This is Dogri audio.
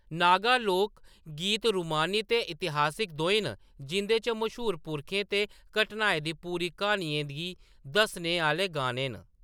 नागा लोक गीत रूमानी ते इतिहासिक दोऐ न, जिं'दे च मश्हूर पुरखें ते घटनाएं दी पूरी क्हानियें गी दस्सने आह्‌‌‌ले गाने न।